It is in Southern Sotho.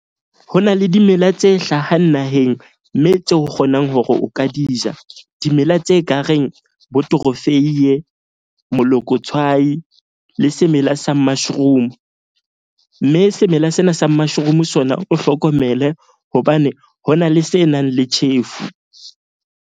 Ho na le dimela tse hlahang naheng, mme tse o kgonang hore o ka di ja. Dimela tse ka reng bo torofeiye, monokotshwai le semela sa mushroom. Mme semela sena sa mushroom sona, o hlokomele hobane ho na le se nang le tjhefu.